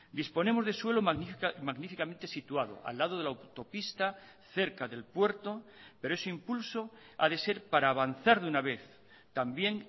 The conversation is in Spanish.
disponemos de suelo magníficamente situado al lado de la autopista cerca del puerto pero ese impulso ha de ser para avanzar de una vez también